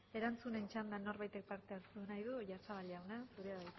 erantzunen txanda norbaitek parte hartu nahi du oyarzabal jauna zurea